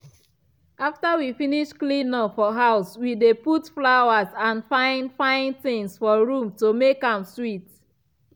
after we finish clean up for house we dey put flowers and fine-fine things for room to make am sweet.